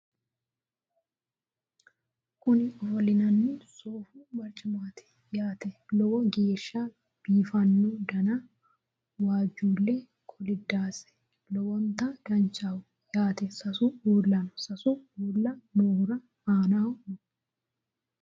kuni ofollinanni sofu barcimaati yaate lowo geeshsha biiffanno dana wajjuulle kolidaati lowonta danchaho yaate sasu ulla no sasu uulla noohura aanaho no